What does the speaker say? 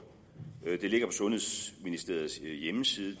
den ligger sundhedsministeriets hjemmeside